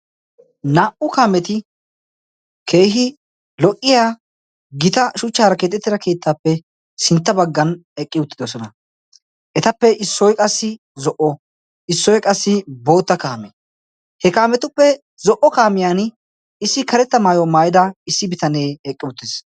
Naa"u kaameti keehi lo"iya gita shuchchaara keexettida keettaappe sintta baggan eqqi uttidosona etappe issoi qassi zo'o issoi qassi bootta kaame he kaametuppe zo'o kaamiyan issi karetta maayo maayida issi bitanee eqqi uttiis.